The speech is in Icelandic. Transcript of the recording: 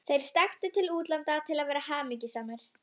Vinkonan er uppi í skýjunum á heimleiðinni.